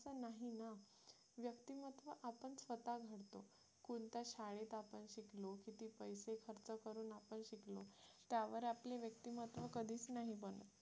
कोणत्या शाळेत आपण शिकलो किती पैसे खर्च करून आपण शिकलो त्यावर आपले व्यक्तिमत्व कधीच नाही बनत